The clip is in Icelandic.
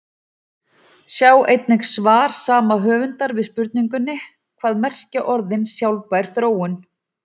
Sjá einnig svar sama höfundar við spurningunni Hvað merkja orðin sjálfbær þróun?